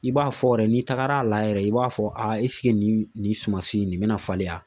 I b'a fɔ yɛrɛ n'i tagara a layɛ yɛrɛ, i b'a fɔ a nin nin sumasi in nin bɛna falen wa ?